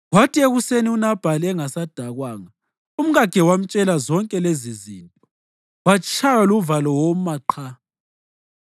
Kwathi ekuseni, uNabhali engasadakwanga, umkakhe wamtshela zonke lezizinto, watshaywa luvalo woma qha.